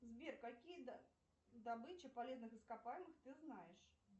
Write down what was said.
сбер какие добычи полезных ископаемых ты знаешь